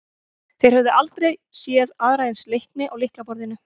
Þeir höfðu aldrei séð aðra eins leikni á lyklaborðinu.